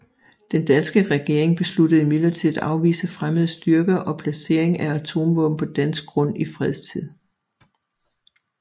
Den danske regering besluttede imidlertid at afvise fremmede styrker og placering af atomvåben på dansk grund i fredstid